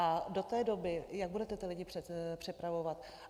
A do té doby jak budete ty lidi přepravovat?.